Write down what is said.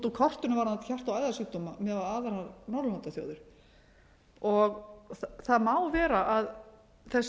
úr kortinu varðandi hjarta og æðasjúkdóma miðað við aðrar norðurlandaþjóðir það má vera að þessi